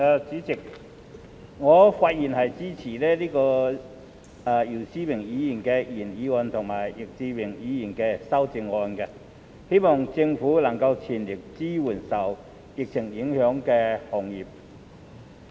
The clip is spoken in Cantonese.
主席，我發言支持姚思榮議員的原議案及易志明議員的修正案，希望政府能全力支援受疫情影響的行業。